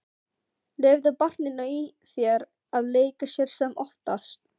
Leyfðu barninu í þér að leika sér sem oftast.